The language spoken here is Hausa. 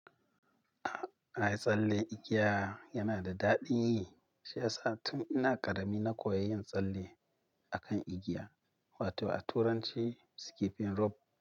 Ae tsalle igiya yana da daɗi. Shi yasa tun ina ƙarami na koyi yin tsalle akan igiya, wato a turanci skipping rope.